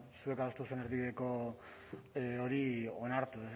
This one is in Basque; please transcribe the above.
zuek adostu duzuen erdibideko hori onartu